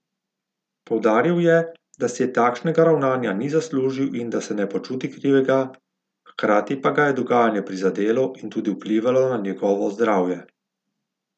Poudaril je, da si takšnega ravnanja ni zaslužil in da se ne počuti krivega, hkrati pa ga je dogajanje prizadelo in tudi vplivalo na njegovo zdravje.